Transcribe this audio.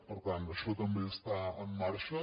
per tant això també està en marxa